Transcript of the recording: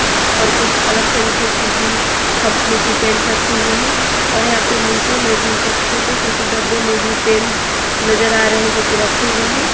और कुछ अलग तरीके की भी कंपनी की पेंट रखे हुए हैं और यहां पे नीचे में भी कुछ छोटे छोटे डब्बे में भी पेंट नजर आ रहे हैं जो की रखे हुए हैं।